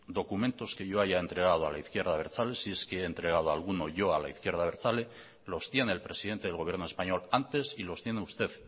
documentos que yo haya entregado a la izquierda abertzale si es que he entregado alguno yo a la izquierda abertzale los tiene el presidente del gobierno español antes y los tiene usted